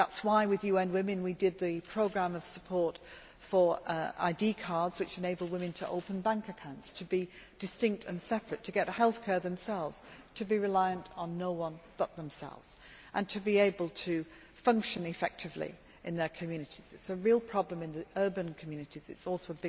That is why, with UN Women, we did the programme of support for ID cards which enable women to open bank accounts, to be distinct and separate, to get healthcare themselves, to be reliant on no one but themselves and to be able to function effectively in their communities. It is a real problem in the urban communities and also